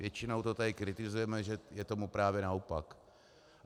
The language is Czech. Většinou to tady kritizujeme, že je tomu právě naopak.